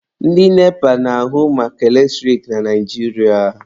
Ndị NEPA na-ahụ maka eletrik na Naijiria.